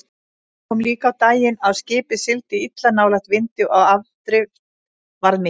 Það kom líka á daginn að skipið sigldi illa nálægt vindi og afdrift var mikil.